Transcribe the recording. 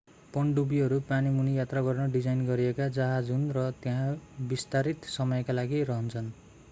पनडुब्बीहरू पानीमुनि यात्रा गर्न डिजाइन गरिएका जहाज हुन् र त्यहाँ विस्तारित समयका लागि रहन्छन्